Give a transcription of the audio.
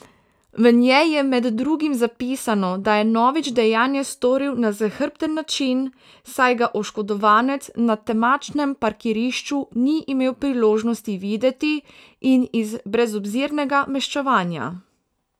V njej je med drugim zapisano, da je Novič dejanje storil na zahrbten način, saj ga oškodovanec na temačnem parkirišču ni imel priložnosti videti, in iz brezobzirnega maščevanja.